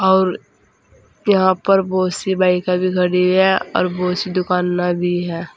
और यहां पर बहुत सी बाइके भी खड़ी हुई हैं और बहोत सी दुकानें भी है।